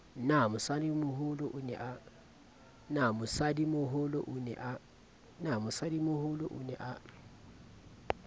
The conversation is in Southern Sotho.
na mosadimoholo o ne a